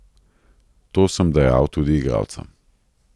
To sem dejal tudi igralcem.